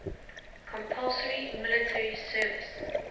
compulsory military service